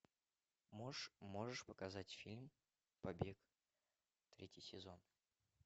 можешь показать фильм побег третий сезон